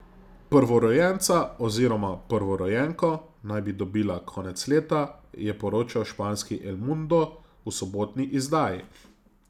Prvorojenca oziroma prvorojenko naj bi dobila konec leta, je poročal španski El Mundo v sobotni izdaji.